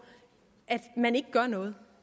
at man ikke gør noget